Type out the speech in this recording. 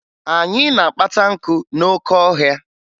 Anyị na-akpata nkụ n'oke ọhịa